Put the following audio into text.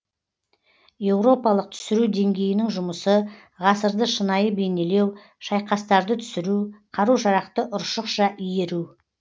еуропалық түсіру деңгейінің жұмысы ғасырды шынайы бейнелеу шайқастарды түсіру қару жарақты ұршықша иіру